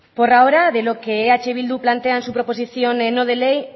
por ahora de lo que eh bildu plantea en su proposición no de ley